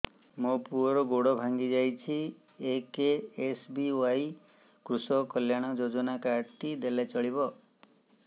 ମୋ ପୁଅର ଗୋଡ଼ ଭାଙ୍ଗି ଯାଇଛି ଏ କେ.ଏସ୍.ବି.ୱାଇ କୃଷକ କଲ୍ୟାଣ ଯୋଜନା କାର୍ଡ ଟି ଦେଲେ ଚଳିବ